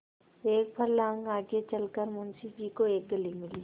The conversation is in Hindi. एक फर्लांग आगे चल कर मुंशी जी को एक गली मिली